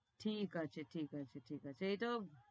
ঠিক আছে, ঠিক আছে, ঠিক আছ, এটাও